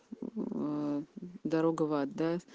м дорога в ад да